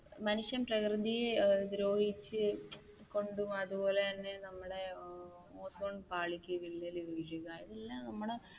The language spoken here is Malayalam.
മനുഷ്യൻ പ്രകൃതിയെ ദ്രോഹിച്ചു കൊണ്ടും അതുപോലെ തന്നെ ഏർ നമ്മുടെ ഓസോൺ പാളിക്ക് വിള്ളൽ വീഴുക എല്ലാം നമ്മുടെ